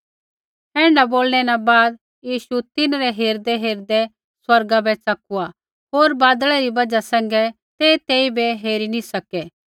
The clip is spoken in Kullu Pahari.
ऐण्ढा बोलै न बाद यीशु तिन्हरै हेरदैहेरदै स्वर्गा बै च़कुआ होर बादलै री बजहा सैंघै तै तेइबै हेरी नी सकै